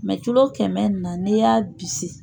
kɛmɛ in na n'i y'a bisi.